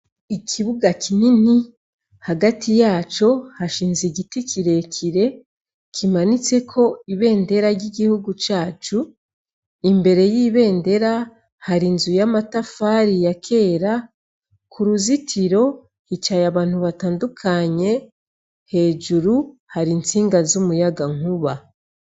Ikibuga kinini hagati yaco hashinze igiti kire kire kimanitseko ibendera ry' igihugu cacu imbere y' ibendera hari inzu y' amatafari ya kera kuruzitiro hicaye abantu batandukanye hejuru hari intsinga z' umuyaga nkuba.